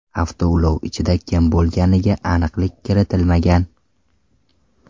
Avtoulov ichida kim bo‘lganiga aniqlik kiritilmagan.